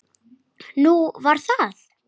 Nú, var það?